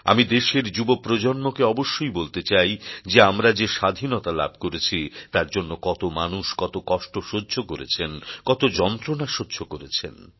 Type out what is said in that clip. আমি দেশের যুবপ্রজন্মকে অবশ্যই বলতে চাই যে আমরা যে স্বাধীনতা লাভ করেছি তার জন্য কত মানুষ কত কষ্ট সহ্য করেছেন কত যন্ত্রণা সহ্য করেছেন